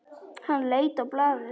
Hann leit á blaðið.